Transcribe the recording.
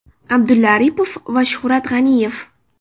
Abdulla Aripov va Shuhrat G‘aniyev.